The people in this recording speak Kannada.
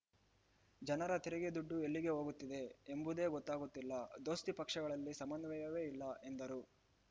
ಜನರ ತೆರಿಗೆ ದುಡ್ಡು ಎಲ್ಲಿಗೆ ಹೋಗುತ್ತಿದೆ ಎಂಬುದೇ ಗೊತ್ತಾಗುತ್ತಿಲ್ಲ ದೋಸ್ತಿ ಪಕ್ಷಗಳಲ್ಲಿ ಸಮನ್ವಯವೇ ಇಲ್ಲ ಎಂದರು